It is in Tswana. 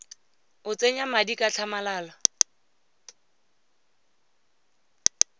o tsenya madi ka tlhamalalo